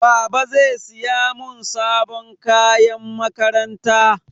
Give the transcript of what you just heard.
Baba zai siya mun sabon kayan makaranta.